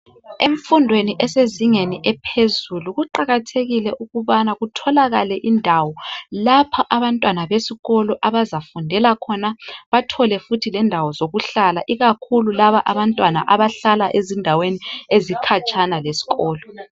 Enfundweni esezingeni ephezulu kuqakathekile ukubana kutholakale indawo lapha abantwana besikolo abazafundela khona bathole futhi lendawo zokuhlala ikakhulu laba abantwana abahlala ezindaweni ezikhatshana lesikolo.